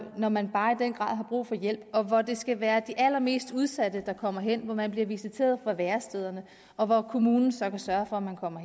når man bare i den grad har brug for hjælp og hvor det skal være de allermest udsatte der kommer hen hvor man bliver visiteret fra værestederne og hvor kommunen så kan sørge for at man kommer